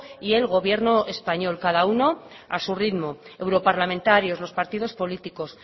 y el gobierno español cada uno a su ritmo europarlamentarios los partidos políticos